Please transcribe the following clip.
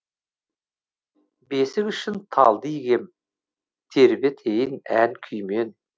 бесік үшін талды игем тербетейін ән күймен